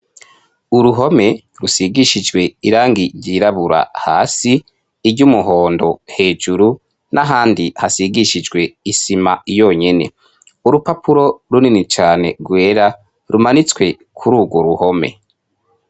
Uruhome rusigishijwe irangi ryirabura hasi, iry'umuhondo hejuru n'ahandi hasigishijwe isima yonyene. Urupapuro runini cane rwera rumanitswe kuri urwo ruhome.